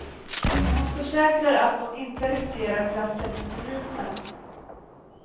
Men hon försäkrar att de inte riskerar trassel med polisen.